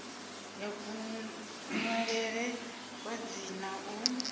ya kunwalele kwa dzina u